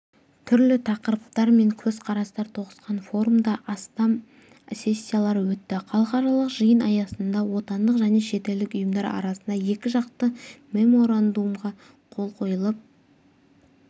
түрлі тақырыптар мен көзқарастар тоғысқан форумда астам сессиялар өтті халықаралық жиын аясында отандық және шетелдік ұйымдар арасында екіжақты меморандумға қол қойылып